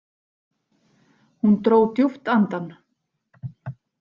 Hún dró djúpt andann.